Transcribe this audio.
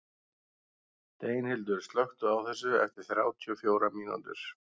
Steinhildur, slökktu á þessu eftir þrjátíu og fjórar mínútur.